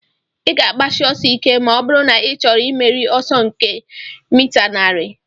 Ị ga-agbashi ọsọ ike ma ọ bụrụ na ị chọrọ imeri ọsọ nke mita narị